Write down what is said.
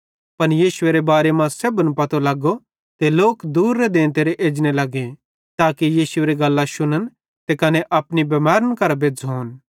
पन यीशुएरे बारे मां सेब्भन पतो लगो ते लोक दूरेरां देंते एजने लगे ताके यीशुएरी गल्लां शुन्म कने अपनी बिमैरी भी मुकांम